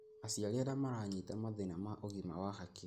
Aciari arĩa maranyita mathĩna ma ũgima wa hakiri